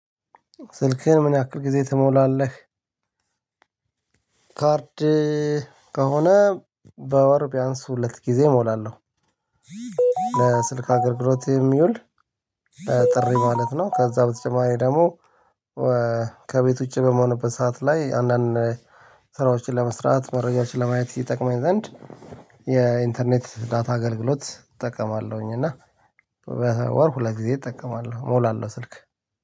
"ስልክህን ምን ያክል ጊዜ ትሞላለህ?" ካርድ ከሆነ፤ በወር ቢያንስ ሁለት ጊዜ እሞላለሁ። ለስልክ አገልግሎት የሚውል ጥሪ ማለት ነው። ከዛ በተጨማሪ ደግሞ ከቤት ውጪ በምሆንበት ሰዓት ላይ አንዳንድ ስራዎችን ለመስራት መረጃዎችን ለማየት ይጠቅመኝ ዘንድ፤ የኢንተርኔት ዳታ አገልግሎት እጠቀማለሁኝ። እና በወር ሁለት ጊዜ እጠቀማለሁ፤ እሞላለሁ ስልክ።